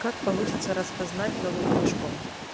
как получится распознать новым движком